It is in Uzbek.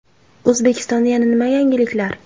O‘zbekistonda yana nima yangiliklar?